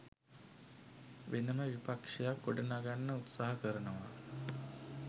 වෙනම විපක්ෂයක් ගොඩනගන්න උත්සාහ කරනවා